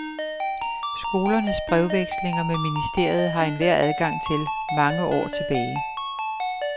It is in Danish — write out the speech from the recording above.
Skolernes brevvekslinger med ministeriet har enhver adgang til, mange år tilbage.